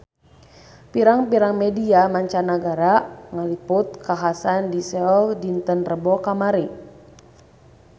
Pirang-pirang media mancanagara ngaliput kakhasan di Seoul dinten Rebo kamari